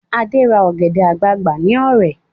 Ade ra ọ̀gẹ̀dẹ̀ àgbagbà ní Ọ̀rẹ̀